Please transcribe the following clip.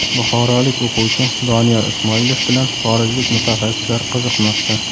Buxorolik o‘quvchi Doniyor Ismoilov bilan xorijlik mutaxassislar qiziqmoqda.